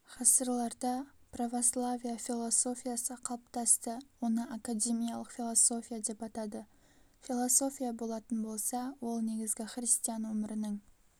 ғасырларда православие философиясы қалыптасты оны академиялық философия деп атады философия болатын болса ол негізгі христиан өмірінің